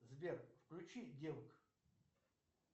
сбер включи девок